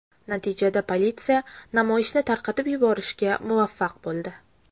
Natijada politsiya namoyishni tarqatib yuborishga muvaffaq bo‘ldi.